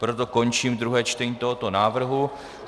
Proto končím druhé čtení tohoto návrhu.